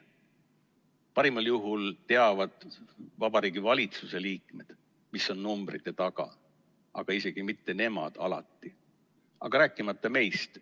Parimal juhul teavad Vabariigi Valitsuse liikmed, mis on numbrite taga, aga alati isegi mitte nemad, rääkimata meist.